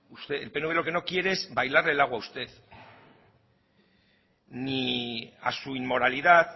el pnv lo que no quiere es bailar el agua a usted ni a su inmoralidad